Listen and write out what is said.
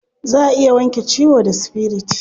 Za a iya wanke ciwo da spirit.